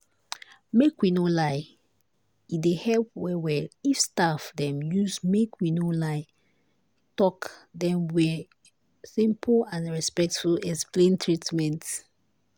make we no lie e dey help well well if staff dem use make we no lie talk dem wey simple and respectful explain treatment.